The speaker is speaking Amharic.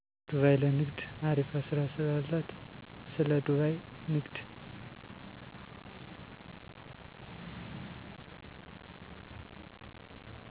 ዱባይ ለንግድ አሪፋ ስራ ስላላት ስለ ዱባይ ንግድ።